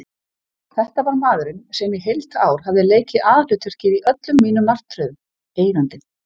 Þetta var maðurinn sem í heilt ár hafði leikið aðalhlutverkið í öllum mínum martröðum: Eigandinn.